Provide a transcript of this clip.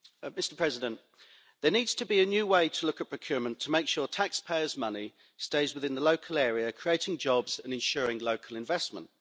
Mr President, there needs to be a new way to look at procurement to make sure taxpayers' money stays within the local area, creating jobs and ensuring local investment.